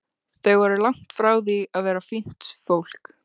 Þau voru langt frá því að vera fínt fólk.